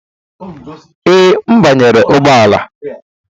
Ee, m banyere ụgbọ ala.